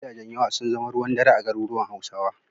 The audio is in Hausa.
Gidajen yawa sun zama ruwan dare a garuruwan Hausawa.